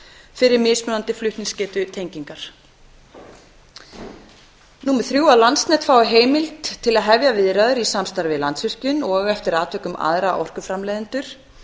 fyrir mismunandi flutningsgetu tengingar þriðja að landsnet fái heimild til að hefja viðræður í samstarfi við landsvirkjun og eftir atvikum aðra orkuframleiðendur